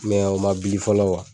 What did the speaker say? Mɛ o ma bili fɔlɔ kuwa!